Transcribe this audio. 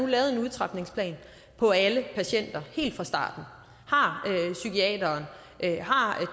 lavet en udtrapningsplan for alle patienter helt fra starten af har psykiateren har